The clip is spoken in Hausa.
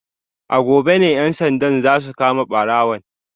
A gobe ne ‘yan sandan za su kama barawon